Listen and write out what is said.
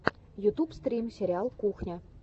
ютуб стрим сериал кухня